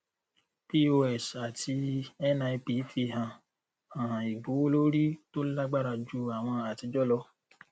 pos àti nip fi hàn hàn ìgbówólórí tó lágbára ju àwọn àtijọ lọ